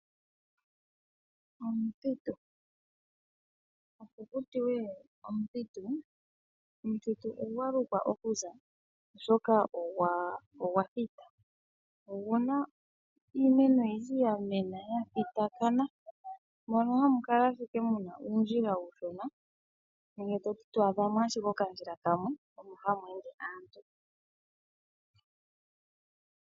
Omuthitu. Opo kutiwe omuthitu, omuthitu ogwa lukwa okuza oshoka ogwa thita. Oguna iimeno oyindji yamena ya thitakana mono hamu kala ashike muna uundjila uushono nenge toti twaadhamo ashike okandjila kamwe mono hamu ende aantu.